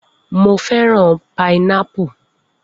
Mo fẹ́ràn pinápù.